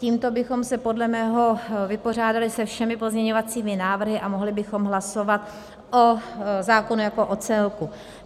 Tímto bychom se podle mého vypořádali se všemi pozměňovacími návrhy a mohli bychom hlasovat o zákonu jako o celku.